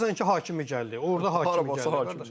Baxırsan ki, Hakimi gəldi, orda Hakimi gəldi qardaş.